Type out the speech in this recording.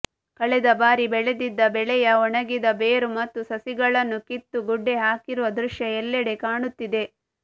ಕಳೆದ ಬಾರಿ ಬೆಳೆದಿದ್ದ ಬೆಳೆಯ ಒಣಗಿದ ಬೇರು ಮತ್ತು ಸಸಿಗಳನ್ನು ಕಿತ್ತು ಗುಡ್ಡೆ ಹಾಕಿರುವ ದೃಶ್ಯ ಎಲ್ಲೆಡೆ ಕಾಣುತ್ತಿದೆ